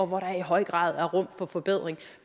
hvor der i høj grad er rum for forbedring